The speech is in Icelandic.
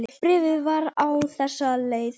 Bréfið var á þessa leið